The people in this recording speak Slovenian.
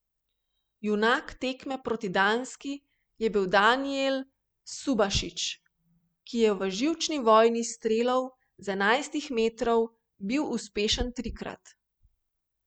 Junak tekme proti Danski je bil Danijel Subašič, ki je v živčni vojni strelov z enajstih metrov bil uspešen trikrat.